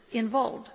involved.